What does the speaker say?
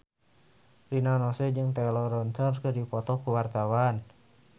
Rina Nose jeung Taylor Lautner keur dipoto ku wartawan